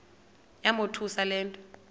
yamothusa le nto